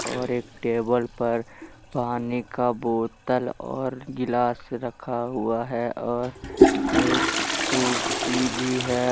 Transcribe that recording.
और एक टेबल पर पानी का बोतल और गिलास रखा हुआ है और एक कुर्सी भी है।